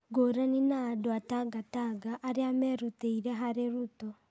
Ngũrani na andũ a Tangatanga arĩa merutĩire harĩ Ruto.